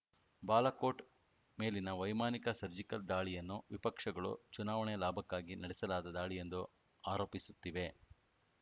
ಬಾಲಾಕೋಟ್‌ ಮೇಲಿನ ವೈಮಾನಿಕ ಸರ್ಜಿಕಲ್‌ ದಾಳಿಯನ್ನು ವಿಪಕ್ಷಗಳು ಚುನಾವಣೆ ಲಾಭಕ್ಕಾಗಿ ನಡೆಸಲಾದ ದಾಳಿ ಎಂದು ಆರೋಪಿಸುತ್ತಿವೆ